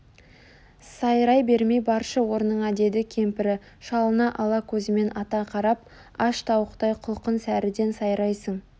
сайрай бермей баршы орныңа деді кемпірі шалына ала көзімен ата қарап аш тауықтай құлқын сәріден сайрайсың